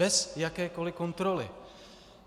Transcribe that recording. Bez jakékoli kontroly.